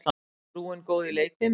Er frúin góð í leikfimi?